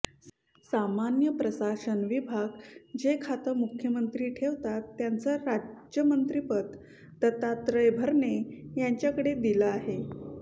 सामान्य प्रशासन विभाग जे खातं मुख्यमंत्री ठेवतात त्याचं राज्यमंत्रीपद दत्तात्रय भरणे यांच्याकडे दिलं आहे